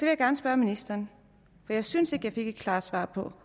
jeg gerne spørge ministeren for jeg synes ikke at jeg fik et klart svar på